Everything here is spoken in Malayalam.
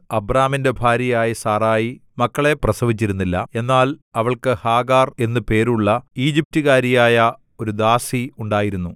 അബ്രാമിന്റെ ഭാര്യയായ സാറായി മക്കളെ പ്രസവിച്ചിരുന്നില്ല എന്നാൽ അവൾക്ക് ഹാഗാർ എന്നു പേരുള്ള ഈജിപ്റ്റുകാരിയായ ഒരു ദാസി ഉണ്ടായിരുന്നു